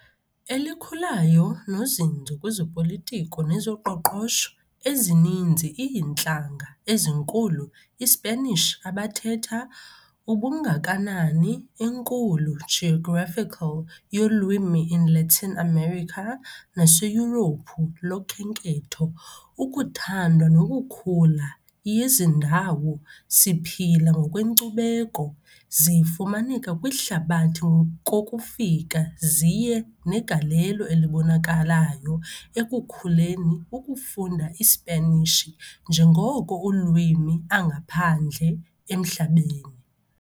Elikhulayo nozinzo kwezopolitiko nezoqoqosho ezininzi iintlanga ezinkulu iSpanish abathetha, ubungakanani enkulu geographical yolwimi in Latin America naseYurophu lokhenketho ukuthandwa nokukhula yezindawo siphila ngokwenkcubeko zifumaneka kwihlabathi kokufika ziye negalelo elibonakalayo ekukhuleni ukufunda iSpanishi njengoko ulwimi angaphandle emhlabeni.